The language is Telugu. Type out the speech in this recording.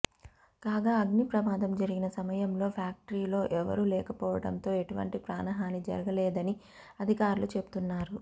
కాగా అగ్ని ప్రమాదం జరిగిన సమయంలో ఫ్యాక్టరీలో ఎవరూ లేకపోవడంతో ఎటువంటి ప్రాణ హాని జరగలేదనీ అధికారులు చెబుతున్నారు